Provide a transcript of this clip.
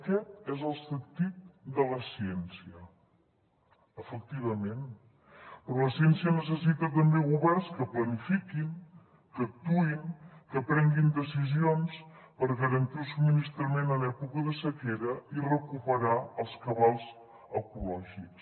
aquest és el sentit de la ciència efectivament però la ciència necessita també governs que planifiquin que actuïn que prenguin decisions per garantir el subministrament en època de sequera i recuperar els cabals ecològics